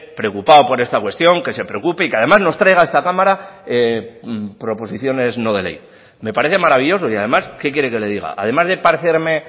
preocupado por esta cuestión que se preocupe y que además nos traiga a esta cámara proposiciones no de ley me parece maravilloso y además qué quiere que le diga además de parecerme